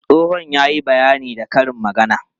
Tsohon ya yi bayani da karin magana.